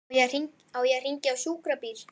Á ég að hringja á sjúkrabíl?